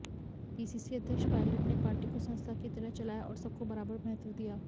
PCC अध्यक्ष पायलट ने party को संस्था की तरह चलाया और सबको बराबर महत्व दिया